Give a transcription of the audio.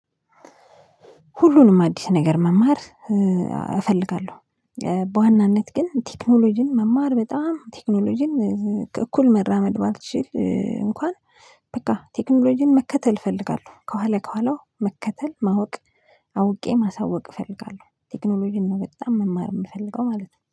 ሁሉንም አዲስ ነገር መማር እፈልጋለሁ። በዋናነት ግን ቴክኖሎጂን መማር በጣም ቴክኖሎጂን እኩል መራመድ ባልችል እንኳን በቃ ቴክኖሎጂን መከተል እፈልጋለሁ ከኋላ ከኋላው መከተል ማወቅ። አውቄ ማሳወቅ እፈልጋለሁ ቴክኖሎጂን ነው በጣም መማር የምፈልገው ማለት ነው